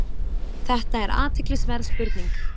Þetta er athyglisverð spurning.